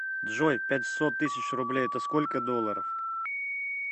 джой пятьсот тысяч рублей это сколько долларов